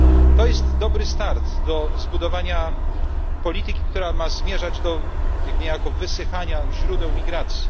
To jest dobry start do zbudowania polityki, która ma zmierzać do niejako wysychania źródeł migracji.